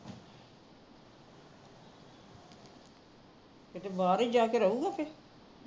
ਕੀਤੇ ਬਾਹਰ ਹੀ ਜਾ ਕੇ ਰਹੂਗਾ ਫਿਰ